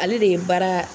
Ale de ye baara